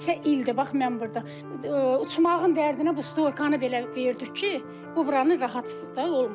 Neçə ildir bax mən burda uçmağın dərdinə bu stoykanı belə verdik ki, bu buranı rahatsız da olmasın.